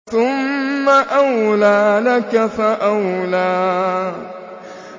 ثُمَّ أَوْلَىٰ لَكَ فَأَوْلَىٰ